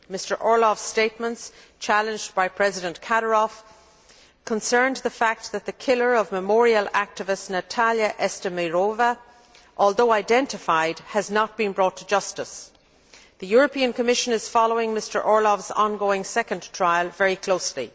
Mr Orlov's statements, challenged by President Kadyrov, concerned the fact that the killer of Memorial activist Natalya Estimirova, although identified, has not been brought to justice. The European Commission is following Mr Orlov's ongoing second trial very closely.